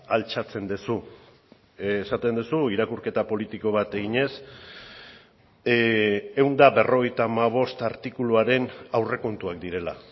altxatzen duzu esaten duzu irakurketa politiko bat eginez ehun eta berrogeita hamabost artikuluaren aurrekontuak direla